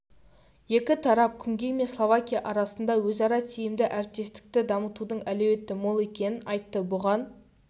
екі тарап күнгей мен словакия арасында өзара тиімді әріптестікті дамытудың әлеуеті мол екенін айтты бұған